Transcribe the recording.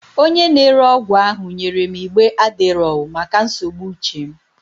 Onye na-ere ọgwụ ahụ nyere m igbe Adderall maka nsogbu uche m.